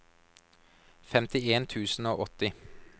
femtien tusen og åtti